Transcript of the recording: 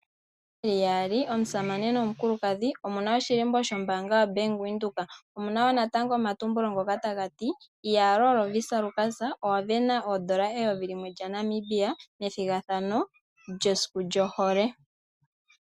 Yeli yaali omusamane nomukulukadhi, omuna oshilimbo shombaanga yaBank Windhoek. Omuna wo omatumbulo ngoka tagati "iyaloo Lovisa owavena N$1000 methigathano lyesiku lyohole.